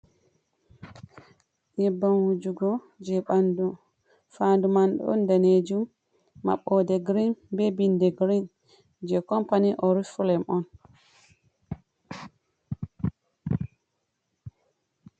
Yebbam wujugo je and fandu man don danejum maɓbode green be binde green je company orifhlem on.